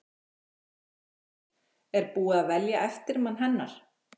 Þorbjörn: Er búið að velja eftirmann hennar?